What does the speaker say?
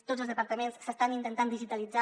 tots els departaments s’estan intentant digitalitzar